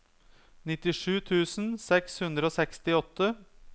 nittisju tusen seks hundre og sekstiåtte